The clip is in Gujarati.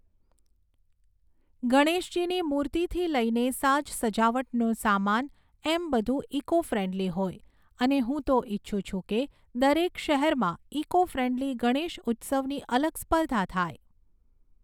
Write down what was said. ગણેશજીની મૂર્તિથી લઈને સાજસજાવટનો સામાન એમ બધું ઇકો ફ્રેન્ડલી હોય, અને હું તો ઇચ્છું છું કે, દરેક શહેરમાં ઇકો ફ્રેન્ડલી ગણેશઉત્સવની અલગ સ્પર્ધા થાય.